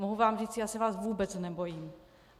Mohu vám říct, já se vás vůbec nebojím.